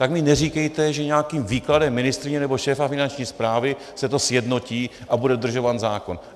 Tak mi neříkejte, že nějakým výkladem ministryně nebo šéfa Finanční správy se to sjednotí a bude dodržován zákon.